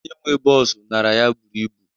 Ego onye nwee bọọsu nara ya buru ibu